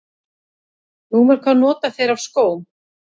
Númer hvað nota þeir af skóm?